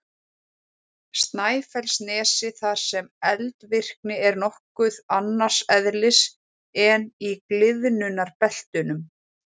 Snæfellsnesi þar sem eldvirkni er nokkuð annars eðlis en í gliðnunarbeltunum.